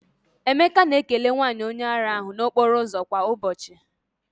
Emeka na-ekele nwanyị onye ara ahụ n'okporo ụzọ kwa ụbọchị.